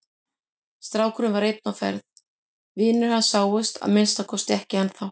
Strákurinn var einn á ferð, vinir hans sáust að minnsta kosti ekki ennþá.